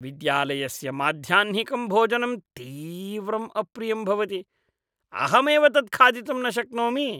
विद्यालयस्य माध्याह्निकं भोजनं तीव्रम् अप्रियं भवति, अहमेव तत् खादितुं न शक्नोमि।